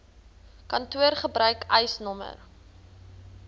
kantoor gebruik eisnr